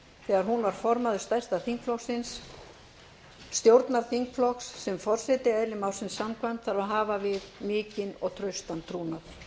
þegar hún var formaður stærsta þingflokksins stjórnarþingflokks sem forseti eðli málsins samkvæmt þarf að hafa við mikinn og traustan trúnað ég